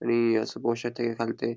आणि हांगासार पोव शकता की --